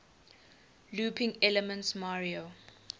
looping elements mario